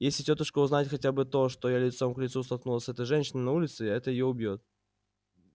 если тётушка узнает хотя бы то что я лицом к лицу столкнулась с этой женщиной на улице это её убьёт